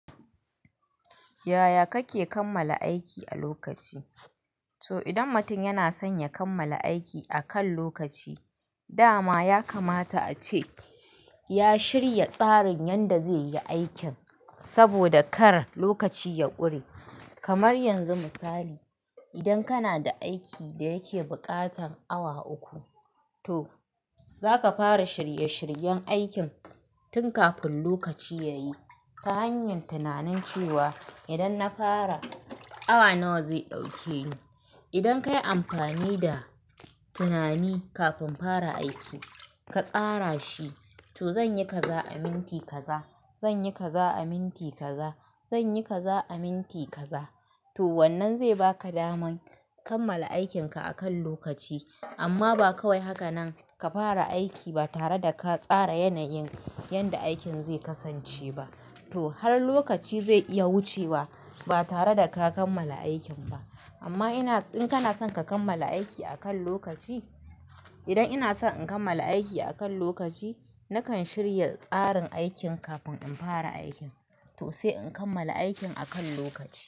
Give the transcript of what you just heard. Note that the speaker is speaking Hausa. Yaya kake kammala aiki a lokaci? To idan mutum yana son ya kammala aiki akan lokaci, dama ya kamata a ce ya shirya tsarin yadda zai yi aikin, saboda kar lokaci ya ƙure. Kamar yanzu misali, idan kana da aiki da yake buƙatar awa uku, to za ka fara shirye-shiryen aikin tun kafin lokaci yayi ta hanyar tunanin cewa idan na fara, awa nawa zai ɗauke ni. Idan ka yi amfani da tunani kafin fara aiki ka tsara shi, to zan yi kaza a minti kaza, zan yi kaza a minti kaza, zan yi kaza a minti kaza. To wannan zai baka daman kammala aikinka a kan lokaci. Amma ba kawai haka nan ka fara aiki ba tare da ka tsara yanayin yanda aikin zai kasance ba. To har lokaci zai iya wuce ba, ba tare da ka kammala aikin ba. Amma ina, idan kana son ka kammala aiki akan lokaci, idan ina son in kammala aiki akan lokaci, na kan shirya tsarin aikin kafin in fara aikin to sai in kammala aikin akan lokaci.